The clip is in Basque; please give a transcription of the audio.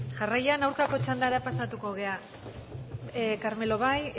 jarraian aurkako txandara pasatuko gara carmelo bai